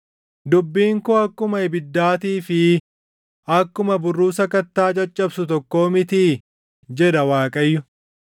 “Dubbiin koo akkuma ibiddaatii fi akkuma burruusa kattaa caccabsu tokkoo mitii?” jedha Waaqayyo.